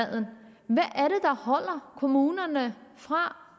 afholder kommunerne fra